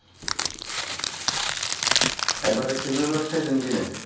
এবারে খেজুর রস খাইসেন কিনা